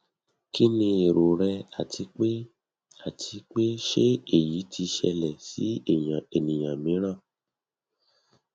kini ero rẹ ati pe ati pe se eyi ti ṣẹlẹ si ẹniyan miiran